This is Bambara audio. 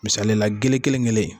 Misali la gele kelen kelen in